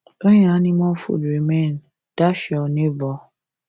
when your animal food remain dash your neighbour